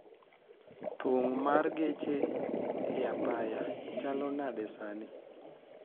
Thung' mar geche e apaya chalo nade sani